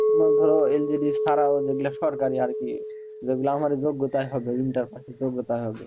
তোমার ধরো LGD ছাড়াও যেগুলা সরকারি আরকি যেগুলা আমার যোগ্যতায় হবে inter pass এর যোগ্যতায় হবে